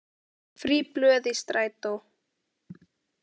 Frí blöð í strætó